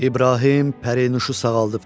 İbrahim pərinüşü sağaldıbdı.